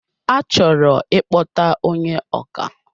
A chọrọ ikpọta ónyé ọkà